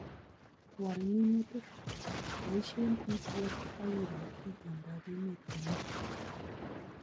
Wal minutik ,boisie IPM akiroo itondob emet komye